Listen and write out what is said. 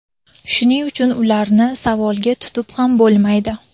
Shuning uchun ularni savolga tutib ham bo‘lmaydi.